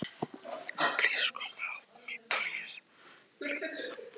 Hér er einnig svarað skyldum spurningum frá ýmsum spyrjendum.